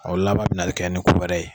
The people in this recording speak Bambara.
O laban bina kɛ ni ko wɛrɛɛ ye